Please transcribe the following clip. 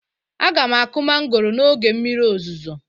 Aga m akụ mangoro n'oge mmiri ozuzo